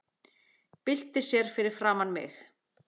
Byltir sér fyrir framan mig.